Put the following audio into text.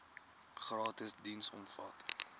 gratis diens omvat